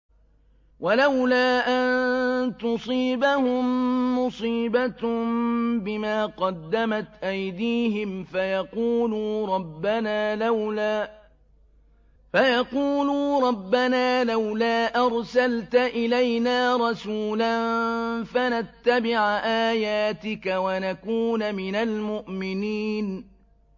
وَلَوْلَا أَن تُصِيبَهُم مُّصِيبَةٌ بِمَا قَدَّمَتْ أَيْدِيهِمْ فَيَقُولُوا رَبَّنَا لَوْلَا أَرْسَلْتَ إِلَيْنَا رَسُولًا فَنَتَّبِعَ آيَاتِكَ وَنَكُونَ مِنَ الْمُؤْمِنِينَ